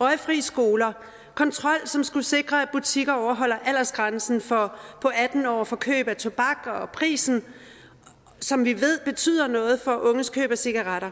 røgfri skoler kontrol som skulle sikre at butikker overholder aldersgrænsen på atten år for køb af tobak og prisen som vi ved betyder noget for unges køb af cigaretter